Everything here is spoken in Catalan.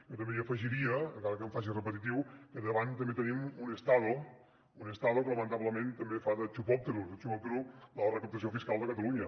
jo també hi afegiria encara que em faci repetitiu que davant també tenim un estado un estadolamentablement també fa de chupóptero de chupópterotalunya